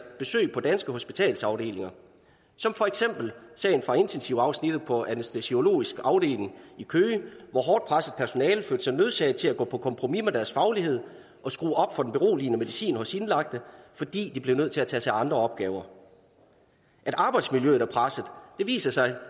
besøg på danske hospitalsafdelinger som for eksempel sagen fra intensivafsnittet på anæstesiologisk afdeling i køge hvor hårdt presset personale så sig nødsaget til at gå på kompromis med deres faglighed og skrue op for den beroligende medicin hos indlagte fordi de blev nødt til at tage sig af andre opgaver at arbejdsmiljøet er presset viser sig